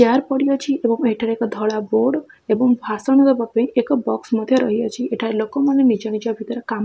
chair ପଡିଅଛି ଏବଂ ଏଠାରେ ଏକ ଧଳା ବୋର୍ଡ ଏବଂ ଭାଷଣ ଦେବାପାଇଁ ଏକ ବକ୍ସ ମଧ୍ୟ ରହିଅଛି ଏଠାରେ ଲୋକମାନେ ନିଜ ନିଜ ଭିତରେ କାମ ---